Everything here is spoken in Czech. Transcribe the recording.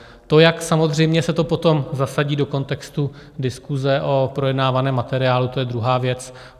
To, jak samozřejmě se to potom zasadí do kontextu diskuse o projednávaném materiálu, to je druhá věc.